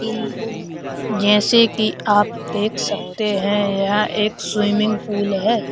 इन उन जैसे कि आप देख सकते हैं यहां एक स्विमिंग पूल है।